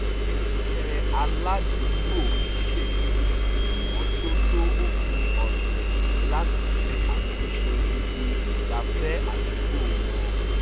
ẹgbẹ́ aládùúgbò ṣètò ìmọ́tótó òpin ọ̀sẹ̀ láti ṣe àtúnṣe ibi ìgbafẹ́ àdúgbò wọn